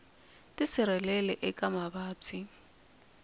tisirheleli eka mavabyi